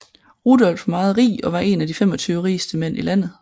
Rudolph var meget rig og var en af de 25 rigeste mænd i landet